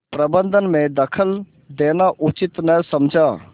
प्रबंध में दखल देना उचित न समझा